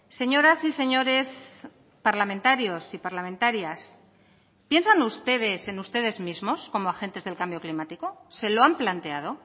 señoras y señores parlamentarios y parlamentarias piensan ustedes en ustedes mismos como agentes del cambio climático se lo han planteado